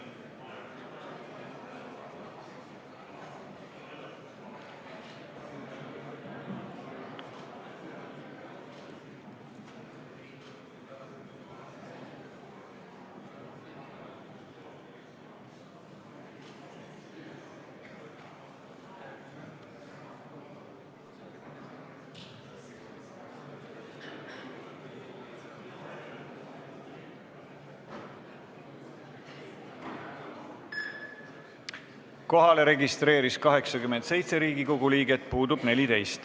Kohaloleku kontroll Kohalolijaks registreerus 87 Riigikogu liiget, puudub 14.